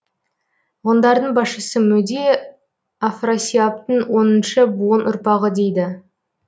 ғұндардың басшысы мөде афрасиабтың оныншы буын ұрпағы дейді